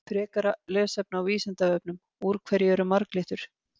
Frekara lesefni á Vísindavefnum: Úr hverju eru marglyttur?